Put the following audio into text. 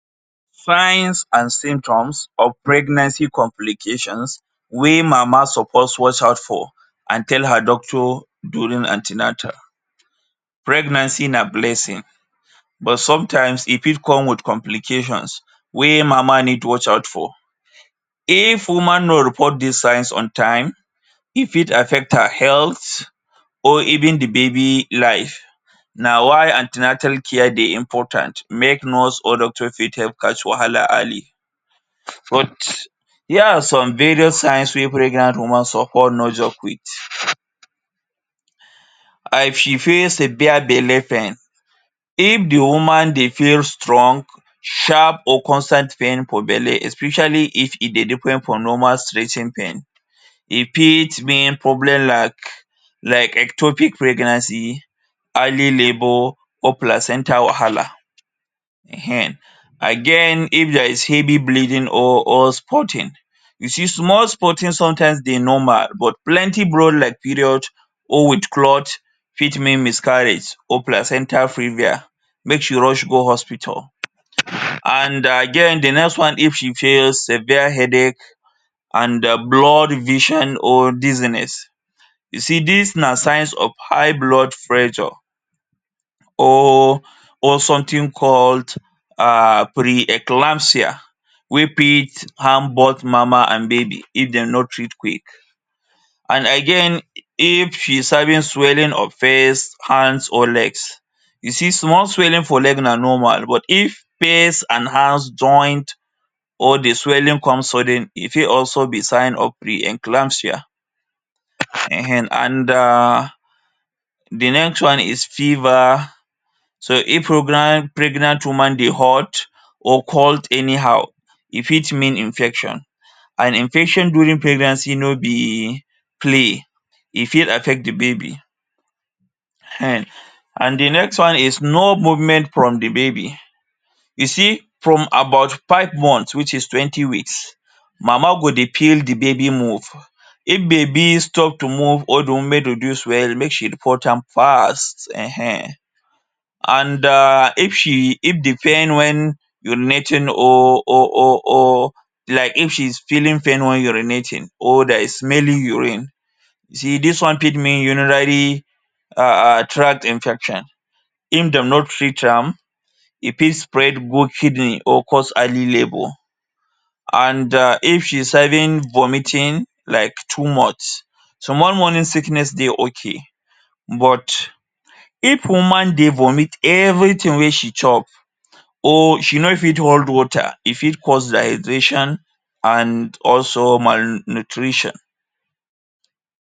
Signs and symptoms of pregnancy complications wey mama suppose watch out for and tell her doctor during an ten atal. Pregnancy na blessing but sometimes, e fit come with complications wey mama need watch out for. If woman no report dis signs on time, e fit affect her health, or even the baby life. Na why an ten atal care dey important make nurse or doctor fit help catch wahala early. Here are some various signs wey pregnant woman suppose nor joke with. Severe belle pain. If the woman dey feel strong, sharp or constant pain for belle, especially if e dey different from normal stretching pain, e fit mean problem like like ectopic pregnancy, early labour or placenta wahala. um um. Again, if there is heavy bleeding or or spotting. You see, small spotting sometimes dey normal but plenty blood like period or with clot fit mean miscarriage or placenta previa. Make she rush go hospital. And again, the next one. If she feels severe headache and um blurred vision or dizziness. You see, dis na signs of high blood pressure or or something called um pre-eclampsia wey fit harm both mama and baby if dem no treat quick. An again if she's having swelling of face, hands or legs. You see, small swelling for leg na normal but if face and hands joined or the swelling comes suddenly, e fit also be signs of the eclampsia. um And um the next one is fever. So if pregnant woman dey hot or cold anyhow, e fit mean infection, and infection during pregnancy no be play. E fit affect the baby. um And the next one is no movement from the baby. You see, from about five months which is twenty weeks, mama go dey feel the baby move. If baby stop to move or the movement reduce well, make she report am fast. um And um if she if the pain wen urinating or or or or like if she's feeling pain wen urinating or there is smelling urine, see dis one fit mean urinary um tract infection. If dem no treat am, e fit spread go kidney or cause early labour. An um if she's having vomiting like too much. Small morning sickness dey okay but if woman dey vomit everything wey she chop, or she no fit hold water, e fit cause dehydration and also malnutrition.